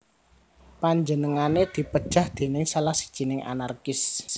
Panjenengané dipejahi déning salah sijining anarkis